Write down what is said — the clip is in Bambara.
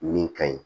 Min ka ɲi